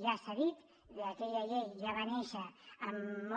ja s’ha dit que aquella llei ja va néixer